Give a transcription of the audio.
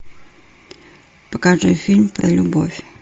покажи фильм про любовь